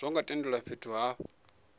zwo ngo tendelwa fhethu ha